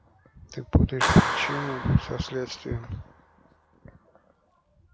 ты путаешь причину со следствием